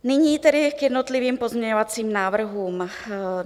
Nyní tedy k jednotlivým pozměňovacím návrhům.